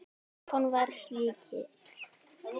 Stefán var slíkur.